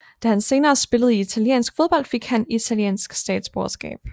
Da han senere spillede i italiensk fodbold fik han italiensk statsborgerskab